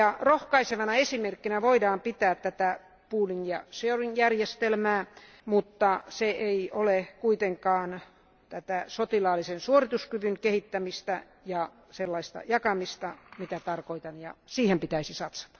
Rohkaisevana esimerkkinä voidaan pitää tätä pooling and sharing järjestelmää, mutta se ei ole kuitenkaan tätä sotilaallisen suorituskyvyn kehittämistä ja sellaista jakamista, jota tarkoitan, ja siihen pitäisi satsata.